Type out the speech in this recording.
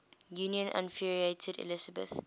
union infuriated elizabeth